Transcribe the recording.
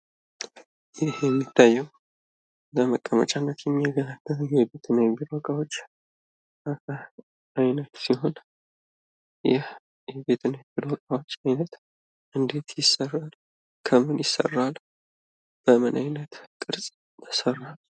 ይህ የሚታየው ለመቀመጫነት የሚያገለግል የቤት እና የቢሮ እቃዎች አይነት ሲሆን፤ ይህ የቤት እና የቢሮ እቃዎች አይነት እንዴት ይሰራል፣ ከምን ይሰራል፣ በምን አይነት ቅርፅ ይሰራል?